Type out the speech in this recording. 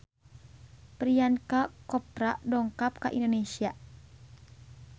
Priyanka Chopra dongkap ka Indonesia